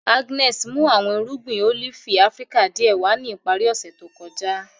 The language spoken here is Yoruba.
Agnes mu awọn irugbin olifi Afirika diẹ wa ni ipari ose to kọja.